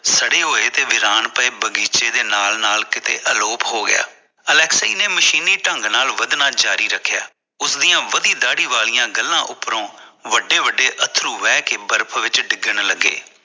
ਸੜੇ ਹੋਏ ਤੇ ਵੀਰਾਨ ਪਏ ਬਗ਼ੀਚੇ ਦੇ ਨਾਲ ਨਾਲ ਕਿਥੇ ਅਲੋਪ ਹੋ ਗਿਆ ਅਲੈਕਸੀ ਨੇ ਮਸ਼ੀਨੀ ਢੰਗ ਨਾਲ ਵੱਧਣਾ ਜਾਰੀ ਰੱਖਿਆ ਉਸਦੀਆਂ ਵਦੀ ਦਾੜੀ ਵਾਲੀ ਗੱਲਾਂ ਉਪਰੋਂ ਵੱਡੇ ਵੱਡੇ ਅਥਰੂ ਬਹਿ ਕੇ ਬਰਫ਼ ਵਿੱਚ ਡਿੱਗਣ ਲੱਗੇ